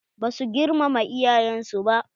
Ba su girmama iyayen su.